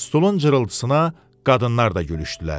Stulun cırıltısına qadınlar da gülüşdülər.